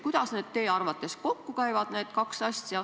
Kuidas need kaks asja teie arvates kokku käivad?